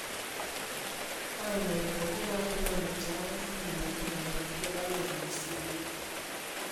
Ore lelo pokira are naa ninje etaretoki metigila rekodi olari otulusoyie.